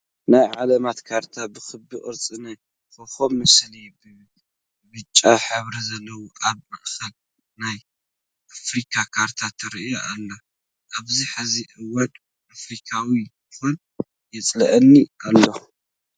ናይ ዓለማት ካርታ ብክቢ ቅርፂ ናይ ኮኮብ ምስሊ ብብጫ ሕብሪ ዘለዎ ኣብ ማእከል ናይ ኣፍሪካ ካርታ ትረኣ ኣላ። ኣብዚ ሕዚ ሕዋን ኣፍሪካዊት ምኳን የፅለኣኒ ኣሎ።